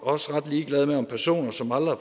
også ret ligeglade med om personer som aldrig